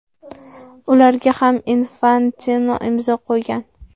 Ularga ham Infantino imzo qo‘ygan.